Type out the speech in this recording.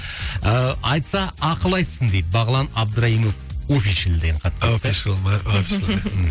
ыыы айтса ақыл айтсын дейді бағлан абдырайымов офишл деген хат келіпті офишал ма офишл